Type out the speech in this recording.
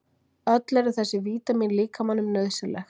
öll eru þessi vítamín líkamanum nauðsynleg